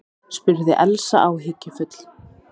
spurði Elsa áhyggjufull.